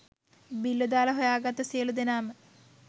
බ්ල්ලො දාල හොයා ගත්තු සියළු දෙනාම